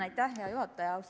Aitäh, hea juhataja!